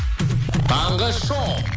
таңғы шоу